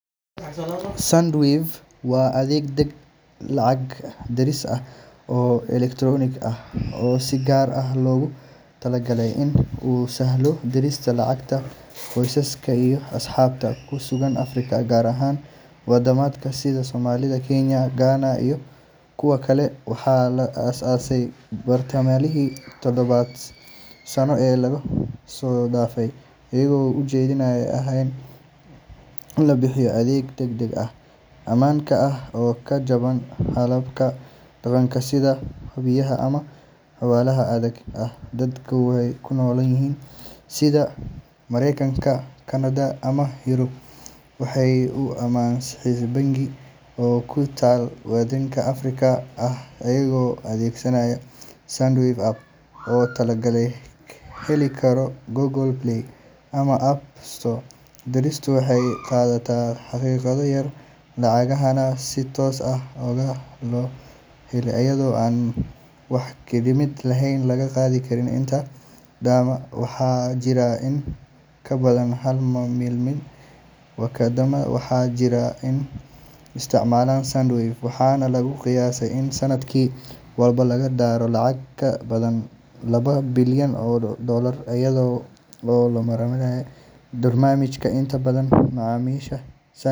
Sendwave waa adeeg lacag diris ah oo elektaroonik ah oo si gaar ah loogu talagalay in uu sahlo dirista lacagta qoysaska iyo asxaabta ku sugan Afrika, gaar ahaan waddamada sida Soomaaliya, Kenya, Ghana iyo kuwa kale. Waxaa la aasaasay bartamihii tobanka sano ee la soo dhaafay, iyadoo ujeeddadu ahayd in la bixiyo adeeg degdeg ah, ammaan ah, oo ka jaban hababka dhaqanka sida bangiyada ama xawaaladaha caadiga ah. Dadka ku nool dalal sida Maraykanka, Kanada, ama Yurub waxay u diri karaan lacag toos ah mobile money ama xisaab bangi oo ku taal waddan Afrikaan ah iyagoo adeegsanaya Sendwave app oo laga heli karo Google Play ama App Store. Diristu waxay qaadataa daqiiqado yar, lacagahana si toos ah ayaa loo helaa iyadoo aan wax khidmad ah laga qaadin inta badan wadamada. Waxaa jira in ka badan hal milyan oo qof oo isticmaala Sendwave, waxaana lagu qiyaasaa in sanad walba lagu diro lacag ka badan laba bilyan oo doolar iyada oo loo marayo barnaamijkan. Inta badan macaamiisha.